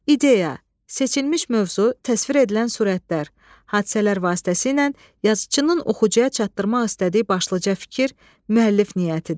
İdeya, seçilmiş mövzu, təsvir edilən surətlər, hadisələr vasitəsilə yazıçının oxucuya çatdırmaq istədiyi başlıca fikir, müəllif niyyətidir.